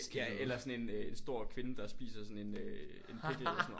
Ja eller sådan en øh stor kvinde der spiser sådan en øh en pickle eller sådan noget